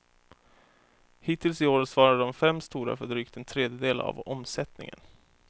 Hittills i år svarar de fem stora för drygt en tredjedel av omsättningen.